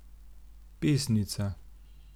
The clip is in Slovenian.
Pesnica?